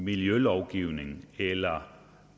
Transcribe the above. miljølovgivning eller